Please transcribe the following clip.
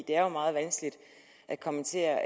det er meget vanskeligt at kommentere